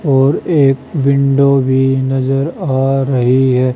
और एक विंडो भी नजर आ रही है।